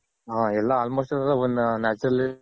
ಹ ಎಲ್ಲ almost ಎಲ್ಲ one Natural